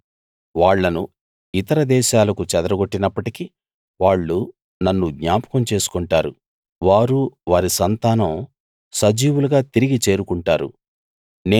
నేను వాళ్ళను ఇతర దేశాలకు చెదరగొట్టినప్పటికీ వాళ్ళు నన్ను జ్ఞాపకం చేసికొంటారు వారూ వారి సంతానం సజీవులుగా తిరిగి చేరుకుంటారు